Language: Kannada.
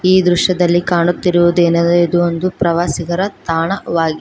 ಈ ದೃಶ್ಯದಲ್ಲಿ ಕಾಣುತ್ತಿರುವದೆನ ಇದು ಒಂದು ಪ್ರವಾಸಿಗರ ತಾಣವಾಗಿ--